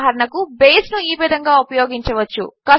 ఉదాహరణకు బేస్ను ఈ విధంగా ఉపయోగించవచ్చు